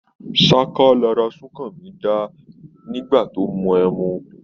Ní sáká lara súnkanmí dáá níse tó mu ẹmu.